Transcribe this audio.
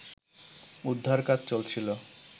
উদ্ধার কাজ চলছিল